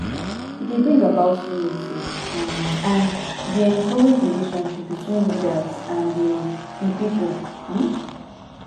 e dey bring about unity um and e dey encourage relationship between leaders and di di people um